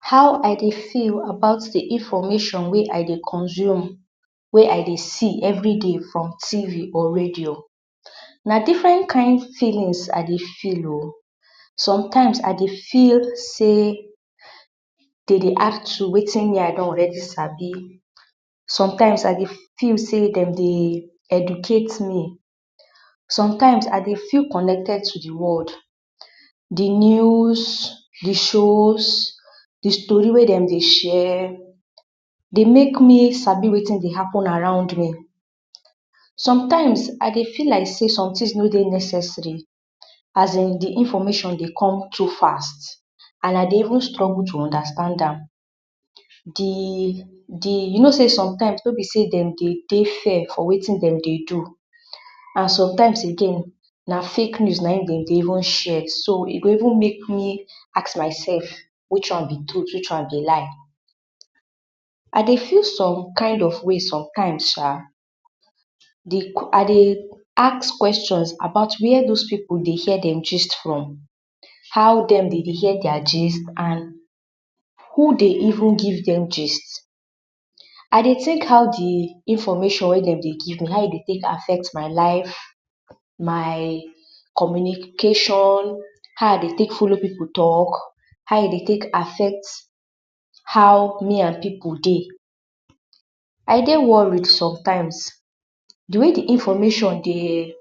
How I dey feel about di infomashon wey I dey consume, wey I dey see everi day from TV or radio? Na difirent kind feelins I dey feel o. sometimes, I dey feel sey dem dey ask me weti me I don already sabi, sometimes, I dey feel sey, dem dey educate me, sometimes, I cdey vfeel connected to di world. Di news, di shows, di stori wey dem dey share dey make me sabi wetin dey happen around me. Sometimes, I dey feel like sey somtins no dey necessary, as in di infomashon dey come too fast and I dey even struggle to undastand am. Di, di, you no sey somtime wey be sey dem dey dey fair for wetin dem dey do, and sometimes again, na fake news na in dem dey even share, e go even make me ask mysef, which one be truth? which one be lie? I dey feel som kind of waist somtime sha, I dey ask kweshon about where dos pipu dey hear dem jist from? how dem dem dey hear dia jist? And who dey even give dem jist? I dey take how di infomashon wey dem dey give me, how e dey take affect my life, my communicashon, how I dey take folo pipu talk, how e dey take affect how me and pipu dey. I dey worried somtime, di way di infomashon dey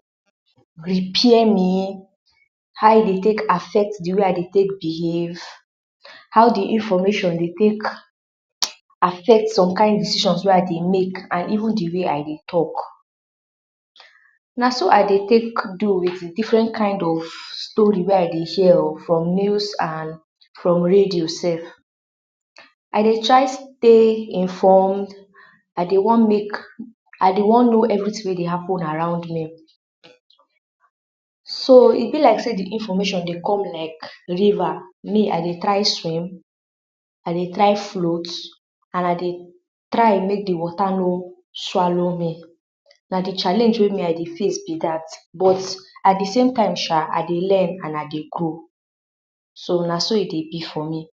repair me, how e dey take affect di way I dey take behave, how e infomashon dey take affect som kind decishon wey I dey make and even di way I dey talk. Na so I dey take do with difirent kind of stori wey I dey hear o from news and from rado sef. I dey try dey informed, I dey wan no everi tin wey dey happen around me. So e be like sey di infom\shon dey come like riva, me I dey try swim, I dey try float and I dey try mey di swota no swalo me. Na di chaleng wey me I dey face be dat but at di same time sha, I dey learn and I dey grow so na so e dey be for me.